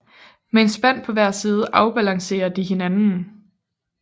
Med en spand på hver side afbalancerer de hinanden